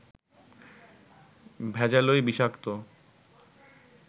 ভেজালই বিষাক্ত